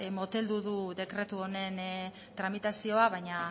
moteldu du dekretu honen tramitazioa baina